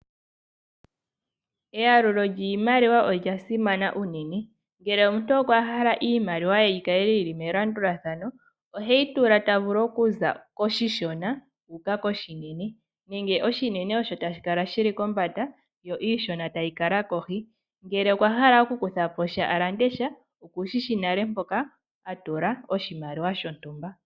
Eyalulo lyiimaliwa olyasimana uunene ngele omuntu okwa hala iimaliwa ye yikale yili melandulathano, oheyi tula tavulu okuza koshishona uuka koshinene nenge oshinene osho tashikala shili kombanda yo iishona tayi kala kohi, ngele okwa hala okukutha po sha alande sha okushishi nale mpoka atula oshimaliwa shontumba.